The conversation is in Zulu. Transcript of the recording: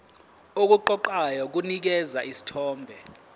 okuqoqayo kunikeza isithombe